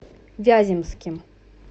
вяземским